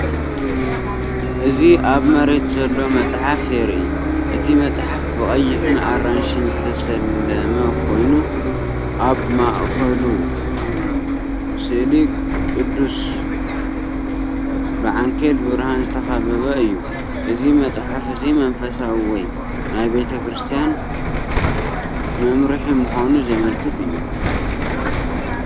እዚ ኣብ መሬት ዘሎ መጽሓፍ የርኢ። እቲ መጽሓፍ ብቐይሕን ኣራንሺን ዝተሰለመ ኮይኑ፡ ኣብ ማእከሉ ስእሊ ቅዱስ፡ ብዓንኬል ብርሃን ዝተኸበበ እዩ። እዚ መጽሓፍ እዚ መንፈሳዊ ወይ ናይ ቤተ ክርስቲያን መምርሒ ምዃኑ ዘመልክት እዩ።